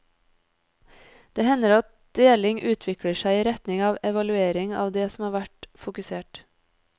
Det hender at deling utvikler seg i retning av evaluering av det som har vært fokusert.